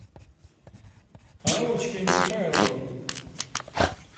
аллочкой михайловой